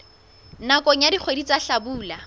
nakong ya dikgwedi tsa hlabula